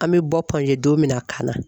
An bɛ bɔ don min na ka na